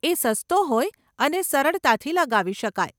એ સસ્તો હોય અને સરળતાથી લગાવી શકાય.